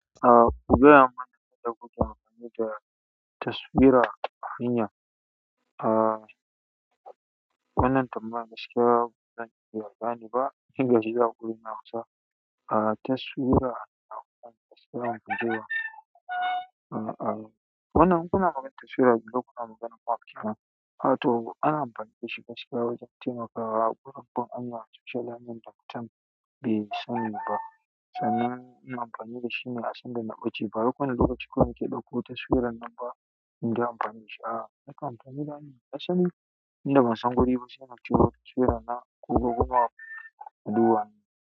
A kugaya mana yanda kuke amfani da taswira a hanya. A wannan tambaya gaskiya bazan iya bayani ba. Ina shiryawa kullum na amsa a taswira na amfani da taswira a gida. A wannan muna gama taswira gida kuma muna makira. Wato ana amfanin da shi gaskiya wajen taimakawa a babbar hanya. Itace hanyar da mutun bai sani ba, sannan ina amfani da shi ne a sandan na fice ba wai kowane lokaci kawai nake fito da taswiran nan ba nayi amfani dashi ba, a'a na kan fito dashi a sanda ban san guri ba sai na fito dashi na duba.